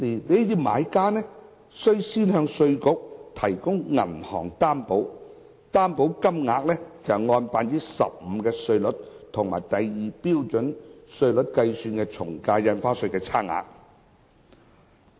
這些買家須向稅務局提供銀行擔保，而擔保金額為按 15% 新稅率及第2標準稅率計算的從價印花稅稅款差額。